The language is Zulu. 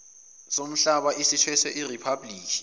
somhlaba esithweswe iriphablikhi